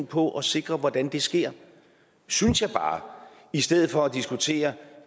på at sikre hvordan det sker synes jeg bare i stedet for at diskutere